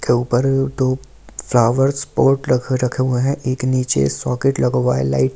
के ऊपर दो फ्लावर सपोर्ट रख रखे हुए हैं एक नीचे सॉकेट लगवा लाइट का ।